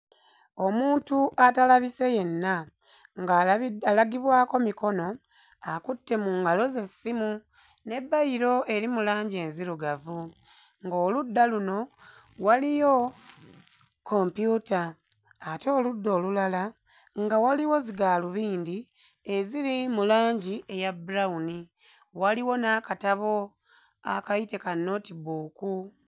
Omuntu atalabise yenna ng'alabi... alagibwako mikono akutte mu ngalo ze essimu ne bbayiro eri mu langi enzirugavu, ng'oludda luno waliyo kompyuta ate oludda olulala nga waliwo zigaalubindi eziri mu langi eya bbulawuni, waliwo n'akatabo a... kayite ka notebook.